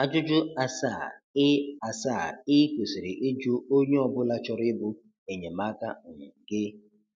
Ajụjụ asaa ị asaa ị kwesịrị ịjụ onye ọ bụla chọrọ ịbụ enyemaka um gị